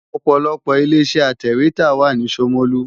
Ọ̀pọ̀lọpọ̀ ilé-iṣẹ́ atẹ̀wétà wà ní Ṣomolu.